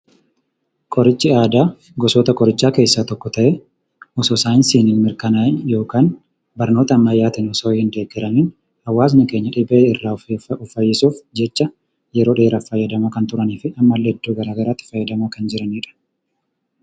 Qorichi aadaa gosoota qorichaa keessaa tokko ta'ee, osoo saayinsii hin mirkanaa'iin yookaan barnoota ammayyaatiin osoo hin deeggaramiin hawwasni keenya dhibee irraa of fayyisuuf jecha yeroo dheeraaf kan fayyadamaa turanii fi ammallee iddoo garaa garaatti itti fayyadamaa jiranidha.